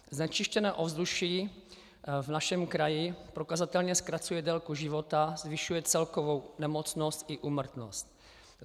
Znečištěné ovzduší v našem kraji prokazatelně zkracuje délku života, zvyšuje celkovou nemocnost i úmrtnost.